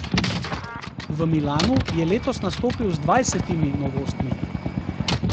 V Milanu je letos nastopil z dvajsetimi novostmi.